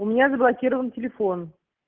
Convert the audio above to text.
у меня заблокирован телефон